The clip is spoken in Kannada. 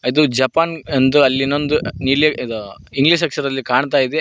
ಇದು ಜಪಾನ್ ಎಂದು ಅಲ್ಲಿ ಇನ್ನೊಂದು ನೀಲಿ ಅದು ಇಂಗ್ಲಿಷ್ ಅಕ್ಷರದಲ್ಲಿ ಕಾಣ್ತಾ ಇದೆ.